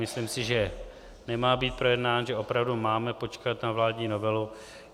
Myslím si, že nemá být projednán, že opravdu máme počkat na vládní novelu.